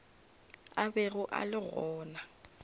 a bego a le gona